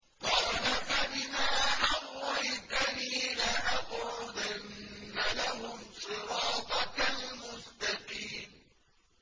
قَالَ فَبِمَا أَغْوَيْتَنِي لَأَقْعُدَنَّ لَهُمْ صِرَاطَكَ الْمُسْتَقِيمَ